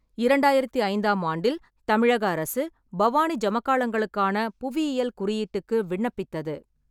இரண்டாயிரத்தி ஐந்தாம் ஆண்டில், தமிழக அரசு பவானி ஜமக்கலங்களுக்கான புவியியல் குறியீட்டுக்கு விண்ணப்பித்தது.